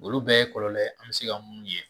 Olu bɛɛ ye kɔlɔlɔ ye an bɛ se ka mun ye